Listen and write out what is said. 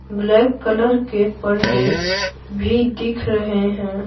Black colour के पर्दे भी दिख रहे हैं।